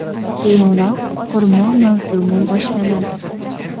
Keyinroq, xurmo mavsumi boshlanadi.